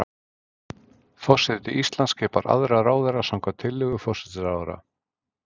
Forseti Íslands skipar aðra ráðherra samkvæmt tillögu forsætisráðherra.